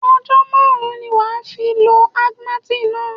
Ọjọ́ márùn-ún ni wà á fi lọ Augmentin náà.